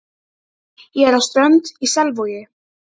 Ég er frá Strönd í Selvogi.